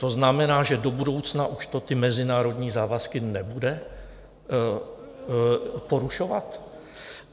To znamená, že do budoucna už to ty mezinárodní závazky nebude porušovat?